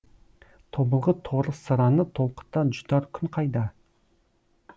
тобылғы торы сыраны толқыта жұтар күн қайда